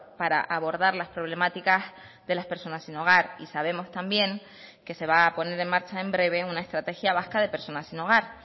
para abordar las problemáticas de las personas sin hogar y sabemos también que se va a poner en marcha en breve una estrategia vasca de personas sin hogar